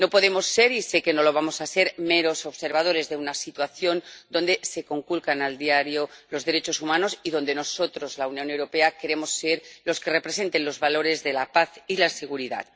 No podemos ser ―y sé que no lo vamos a ser― meros observadores de una situación en la que se conculcan a diario los derechos humanos y en la que nosotros, la Unión Europea, queremos ser los que representen los valores de la paz y la seguridad.